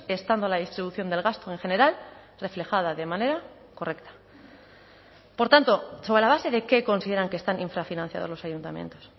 estando la distribución del gasto en general reflejada de manera correcta por tanto sobre la base de qué consideran que están infrafinanciados los ayuntamientos